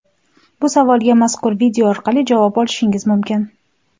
Bu savolga mazkur video orqali javob olishingiz mumkin!.